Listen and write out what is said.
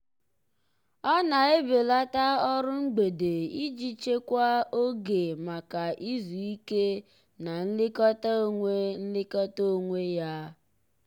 ọ na-ebelata ọrụ mgbede iji chekwaa oge maka izu ike na nlekọta onwe nlekọta onwe ya.